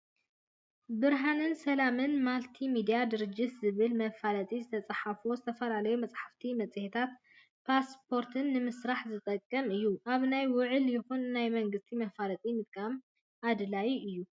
ብርሃንን ሰላምን ማልቲ-ሚድያ ድርጅት ዝብል መፈላጢ ዝተፃሓፎ ዝተፈላለዩ መፅሓፍትን መፂሄታትን ፖስቶራትን ንምስራሕ ዝጠቅም እዩ። ኣብ ናይ ውልወ ይኩን ናይ መንግቲ መፋለጢ ምጥቃም ኣድላይ እዩ።